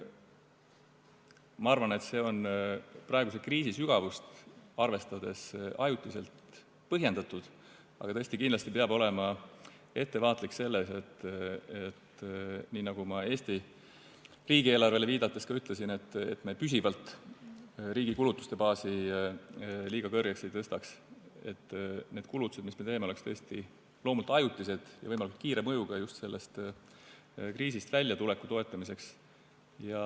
Ma arvan, et see on praeguse kriisi sügavust arvestades ajutiselt põhjendatud, aga kindlasti peab olema ettevaatlik selles – nii nagu ma Eesti riigieelarvele viidates ka ütlesin –, et me püsivalt riigi kulutuste baasi liiga kõrgeks ei tõstaks, et need kulutused, mis me teeme, oleks tõesti loomult ajutised ja võimalikult kiire mõjuga just sellest kriisist väljatuleku toetamiseks.